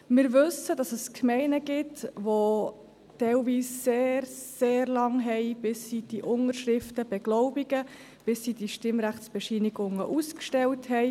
Wir wissen, dass es Gemeinden gibt, die teilweise sehr lange brauchen, bis sie die Unterschriften beglaubigt und die Stimmrechtsbescheinigungen ausgestellt haben.